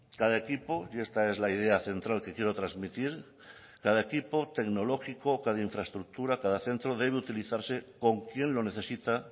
cada equipo y esta es la idea central que quiero trasmitir tecnológico cada infraestructura cada centro debe utilizarse con quien lo necesite